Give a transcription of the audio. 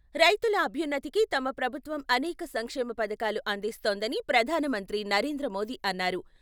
రైతుల అభ్యున్నతికి తమ ప్రభుత్వం అనేక సంక్షేమ పథకాలు అందిస్తోందని ప్రధానమంత్రి నరేంద్ర మోదీ అన్నారు.